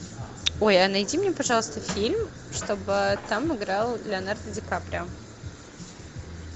ой а найди мне пожалуйста фильм чтобы там играл леонардо ди каприо